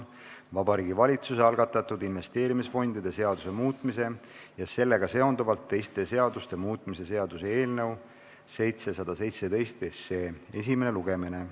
Vabariigi Valitsuse algatatud investeerimisfondide seaduse muutmise ja sellega seonduvalt teiste seaduste muutmise seaduse eelnõu 717 esimene lugemine.